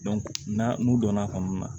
n'a n'u donna fan min na